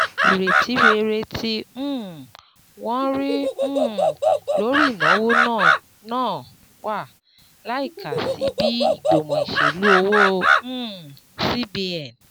Ìrètí rere tí um wọ́n rí um lórí ìnáwó náà náà wà láìka sí bí ìgbìmọ̀ ìṣèlú owó um cbn